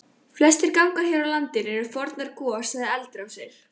Flestir gangar hér á landi eru fornar gos- eða eldrásir.